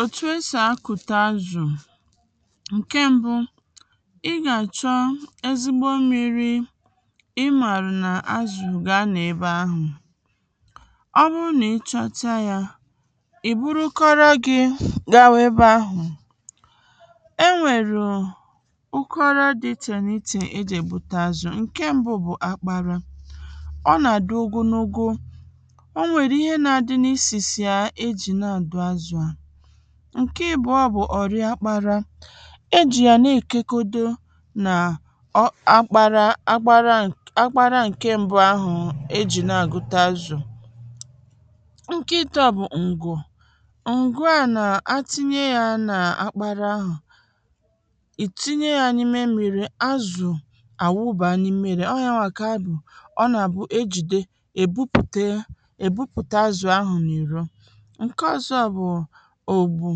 òtù esì akụ̀ta azụ̀ ǹke m̀bụ ị gà àchọ ezigbo mmirī ịmàrụ̀ n’azụ̀ gà anọ̀ ebe ahụ̀ ọ bụrụ n’ịchọta yā i buru ụkọrọ gị̄ gawa ebe ahụ̀ enwèrụ ụkọrọ dị ichè n’ichè ejì ègbute azụ̀, ǹke m̀bụ bụ̀ akpara ọ nà-àdị ogonogo onwèrụ ihe na-adị n’isìsì yā ejì na-àdụ azụ̀ à ǹke ìbụ̀ọ bụ̀ ọ̀rị akpara ejì yà na-èkekodo n’akpara akpara akpara ǹke m̀bụ ahụ̀ ejì na-àgụta azụ̀ ǹke ịtọ bụ̀ ǹgwù ǹgwù n’atinye yā n’akpara ahụ̀ ìtinye ya nà-imē ḿmírī, azụ̀ àwụba n’imērē ọ yawà kà ọ nà àbụ ejìde èbupùte azụ̀ ahụ n’ìro ǹke ọ̀zọ bụ̀ ògbù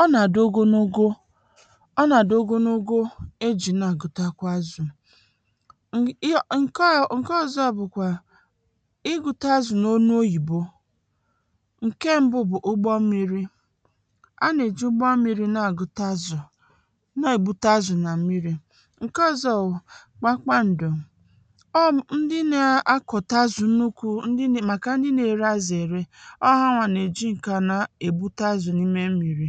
ọ nà-àdị ogonogo ọ nà-àdị ogonogo ejì na-àgụtakwa azụ̀ ǹke ọ̀zọ bụ̀kwà ịgụta azụ̀ n’ọnụ oyibo ǹke m̀bụ bụ̀ ụgbọ mmirī a nà-èji ụgbọ mmirī na-agụta azụ̀, na-èbute azụ̀ n’mmirī ǹke ọ̀zọ bụ̀ kpakpa ǹdù ọ ndị na-akọ̀ta azụ̀ nnukwu màkà ndị na-ere azụ ère ọ hawà nà-èji nkana ègbute azụ̀ n’ime mmirī